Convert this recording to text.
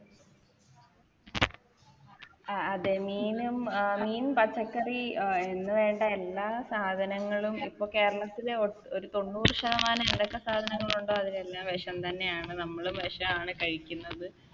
ആ അതെ മീനും മീൻ പച്ചക്കറി അഹ് എന്ന് വേണ്ട എല്ലാ സാധനങ്ങളും ഇപ്പൊ കേരളത്തിലെ ഒട്ട് ഒരു തൊണ്ണൂറ് ശതമാനം എന്തൊക്കെ സാധനങ്ങളുണ്ടോ അതിലെല്ലാം വിഷം തന്നെയാണ് നമ്മളും വിഷാണ് കഴിക്കുന്നത്